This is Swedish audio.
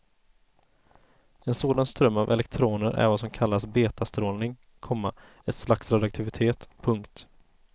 En sådan ström av elektroner är vad som kallas betastrålning, komma ett slags radioaktivitet. punkt